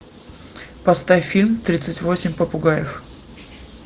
поставь фильм тридцать восемь попугаев